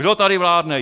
Kdo tady vládne?!